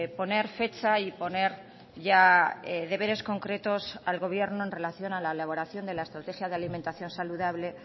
poner fecha y poner ya deberes concretos al gobierno en relación a la elaboración de la estrategia de alimentación saludable